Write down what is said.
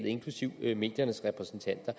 inklusive mediernes repræsentanter